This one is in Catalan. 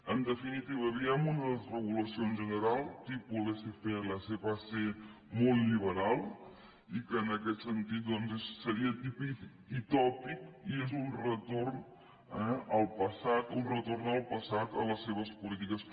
en definitiva veiem una desregulació en general tipus laissez faire laissez passeraquest sentit doncs seria típic i tòpic i és un retorn al passat un retorn al passat a les seves polítiques